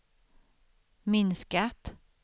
minskat